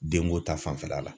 Dengo ta fanfɛla la